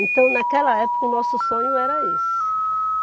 Então, naquela época, o nosso sonho era esse.